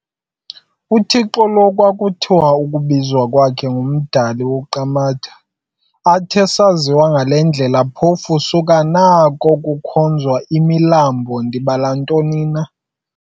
UThixo lo kwakuthiwa ukubizwa kwakhe ngumdali-uQamatha.athe asaziwa ngale ndlela phofu, suka nako kukhonzwa oomilambo, ndibala ntoni.